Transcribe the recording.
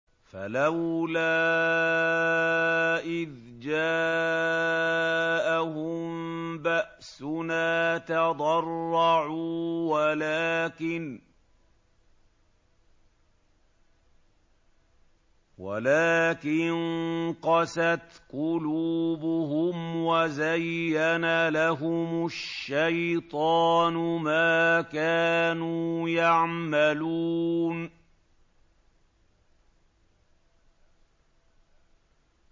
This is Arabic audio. فَلَوْلَا إِذْ جَاءَهُم بَأْسُنَا تَضَرَّعُوا وَلَٰكِن قَسَتْ قُلُوبُهُمْ وَزَيَّنَ لَهُمُ الشَّيْطَانُ مَا كَانُوا يَعْمَلُونَ